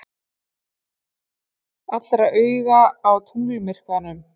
Allra augu á tunglmyrkvanum